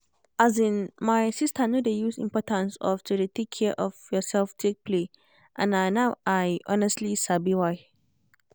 as in my sister no dey use importance of to dey take care of yourself take play and na now i thonestly sabi why